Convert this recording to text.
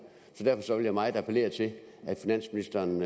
så derfor vil jeg meget appellere til at finansministeren